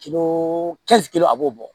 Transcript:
Kilo kelen a b'o bɔ